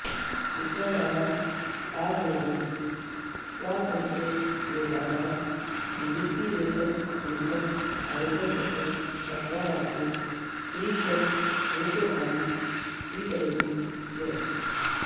मित्राणाम् आग्रहेण स्वातन्त्र्ययोद्धानां निवृत्तिवेतननिमित्तम् आवेदनपत्रं दत्त्वा मासे त्रिशतरूप्यकाणि स्वीकरोति स्म